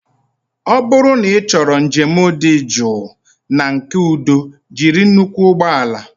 Ọ bụrụ na ịchọrọ njem dị jụụ na nke udo jiri nnukwu ụgbọ ala